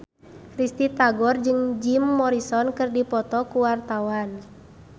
Risty Tagor jeung Jim Morrison keur dipoto ku wartawan